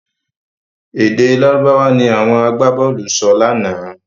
Èdè Lárúbáwá ni àwọn agbábọ̀ọ̀lù sọ lánàá.